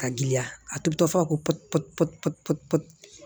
Ka giriya a tobi tɔ fɔ ko